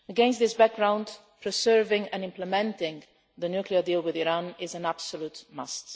Against this background, preserving and implementing the nuclear deal with Iran is an absolute must.